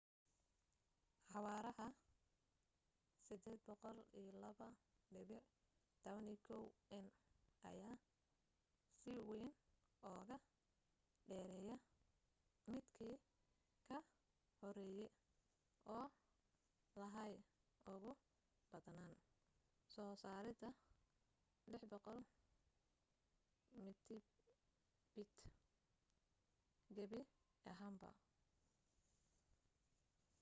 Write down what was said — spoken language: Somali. xawaaraha 802.11n ayaa si weyn uuga dheereya midkii ka horeeye oo lahaa ugu badnaan soo saarid 600mbit/s gabi ahaanba